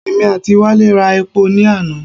Èmi àti Wálé ra epo ní àná.